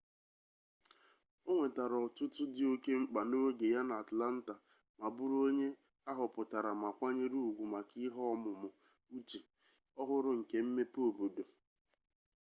o nwetara otuto dị oke mkpa n'oge ya n'atlanta ma bụrụ onye a họpụtara ma kwanyere ugwu maka ihe ọmụmụ uche-ọhụrụ nke mmepe obodo